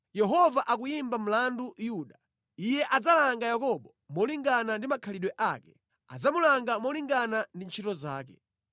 Yehova akuyimba mlandu Yuda; Iye adzalanga Yakobo molingana ndi makhalidwe ake, adzamulanga molingana ndi ntchito zake.